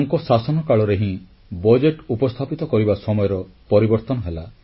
ତାଙ୍କ ଶାସନ କାଳରେ ହିଁ ବଜେଟ୍ ଉପସ୍ଥାପିତ କରିବା ସମୟର ପରିବର୍ତ୍ତନ ହେଲା